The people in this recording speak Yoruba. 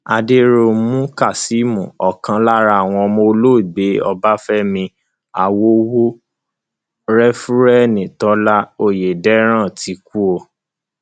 àdẹrùnmú kazeem ọkan lára àwọn ọmọ olóògbé ọbáfẹmi àwòwò réfúrẹǹdì tólà ọyẹdẹrán ti kú o